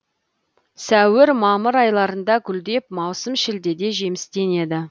сәуір мамыр айларында гүлдеп маусым шілдеде жемістенеді